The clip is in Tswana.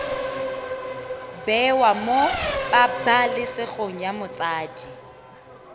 bewe mo pabalesegong ya motsadi